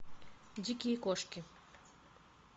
дикие кошки